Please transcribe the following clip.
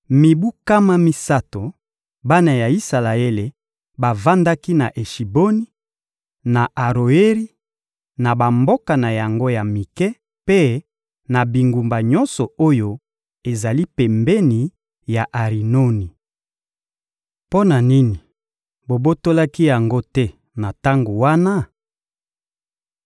Mibu nkama misato, bana ya Isalaele bavandaki na Eshiboni, na Aroeri, na bamboka na yango ya mike mpe na bingumba nyonso oyo ezali pembeni ya Arinoni. Mpo na nini bobotolaki yango te na tango wana?